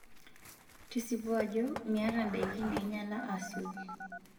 Tesipu ajo miayata ndaiki nainyala asioki.